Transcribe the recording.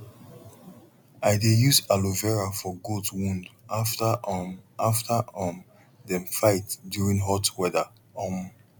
i dey use aloe vera for goat wound after um after um dem fight during hot weather um